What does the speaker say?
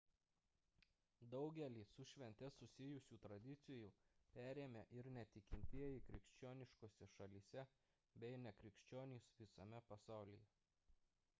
daugelį su švente susijusių tradicijų perėmė ir netikintieji krikščioniškose šalyse bei nekrikščionys visame pasaulyje